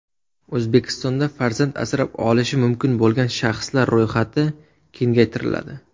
O‘zbekistonda farzand asrab olishi mumkin bo‘lgan shaxslar ro‘yxati kengaytiriladi.